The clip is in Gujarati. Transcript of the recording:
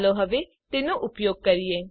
ચાલો હવે તેનો ઉપયોગ કરીએ